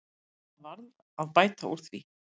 Það varð að bæta úr því.